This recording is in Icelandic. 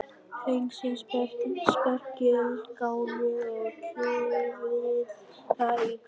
Hreinsið spergilkálið og kljúfið það í kvisti.